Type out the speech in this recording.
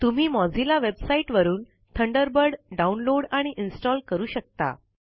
तुम्ही Mozilla website वरून Thunderbird download आणि इंस्टाल करू शकता